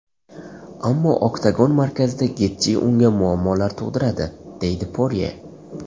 Ammo oktagon markazida Getji unga muammolar tug‘diradi”, deydi Porye.